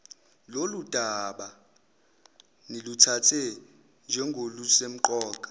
lolundaba niluthathe njengolusemqoka